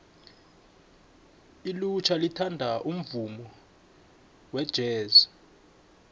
ilutjha lithanda umvumo wejesi